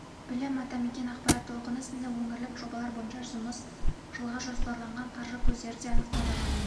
білім атамекен ақпарат толқыны сынды өңірлік жобалар бойынша жұмыс жылға жоспарланған қаржы көздері де анықталды